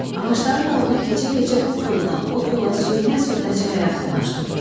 Ağacların dalına keçə-keçə bu koldan o kola sürünə-sürünə çaya yaxınlaşdım.